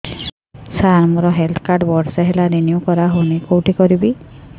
ସାର ମୋର health card ବର୍ଷେ ହେଲା ରିନିଓ କରା ହଉନି କଉଠି କରିବି